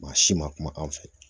Maa si ma kuma an fɛ